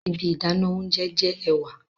Ibi idana ounjẹ jẹ ẹwà